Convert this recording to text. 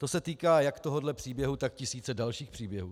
To se týká jak tohohle příběhu, tak tisíce dalších příběhů.